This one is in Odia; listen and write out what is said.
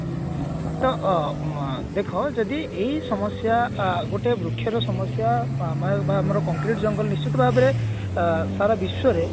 ତ ଅ ଉଁ ଦେଖ ଏଇ ସମସ୍ଯା ଗୋତ୍ର ବୃକ୍ଷ ର ସମସ୍ଯା ମ ବା ଆମର concrete ଜଙ୍ଗଲ ନିଶ୍ଚିତ ଭାବରେ ଅ ସାରା ବିଶ୍ବରେ